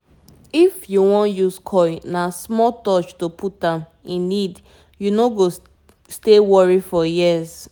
as we dey reason coil matter e dey release hormones steady steady - for easy family planning wey no get wahala